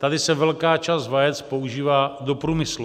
Tady se velká část vajec používá do průmyslu.